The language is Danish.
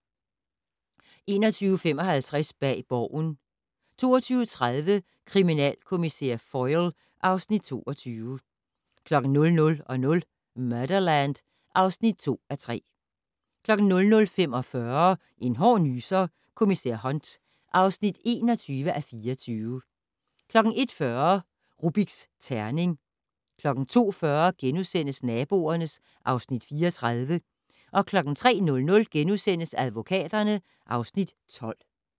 21:55: Bag Borgen 22:30: Kriminalkommissær Foyle (Afs. 22) 00:00: Murderland (2:3) 00:45: En hård nyser: Kommissær Hunt (21:24) 01:40: Rubiks terning 02:40: Naboerne (Afs. 34)* 03:00: Advokaterne (Afs. 12)*